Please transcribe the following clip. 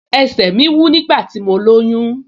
Ẹsẹ̀ mi wú nígbà tí mo lóyún